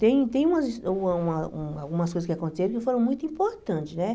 Tem tem umas uma uma uma algumas coisas que aconteceram que foram muito importantes, né?